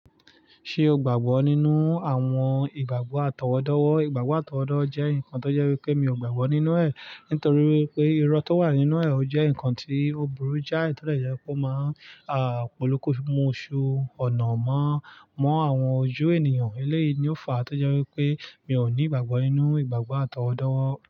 Ṣé o gbàgbọ́ nínú àwọn ìgbàgbọ́ àtọwọ́dọ́wọ́? Ìgbàgbọ́ àtọwọ́dọ́ jẹ́ nǹkan tó jẹ́ wípé mi ò gbàgbọ́ nínú ẹ̀ nítorí wipé irọ́ tó wà nínú o jẹ́ ǹkan tí oburu jái to dẹ̀ jẹ́ kó máa polopo mu òṣù ọ̀nà mọ́ àwọn ojú ènìyàn. Eléyìí ni ó fa tó jẹ́ wípé mi ò ní ìgbàgbọ́ nínú ìgbàgbọ́ àtọwọ́dọ́wọ́